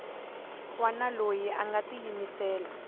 wana loyi a nga tiyimisela